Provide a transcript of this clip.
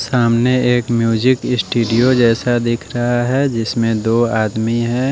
सामने एक music studio जैसा दिख रहा है जिसमें दो आदमी हैं।